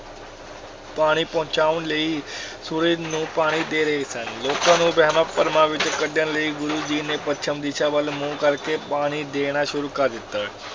ਪਾਣੀ ਪਹੁੰਚਾਉਣ ਲਈ ਸੂਰਜ ਨੂੰ ਪਾਣੀ ਦੇ ਰਹੇ ਸਨ ਲੋਕਾਂ ਨੂੰ ਵਹਿਮਾਂ-ਭਰਮਾਂ ਵਿੱਚੋਂ ਕੱਢਣ ਲਈ ਗੁਰੂ ਜੀ ਨੇ ਪੱਛਮ ਦਿਸ਼ਾ ਵੱਲ ਮੂੰਹ ਕਰਕੇ ਪਾਣੀ ਦੇਣਾ ਸ਼ੁਰੂ ਕਰ ਦਿੱਤਾ।